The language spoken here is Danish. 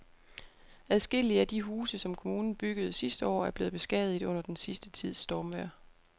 Adskillige af de huse, som kommunen byggede sidste år, er blevet beskadiget under den sidste tids stormvejr.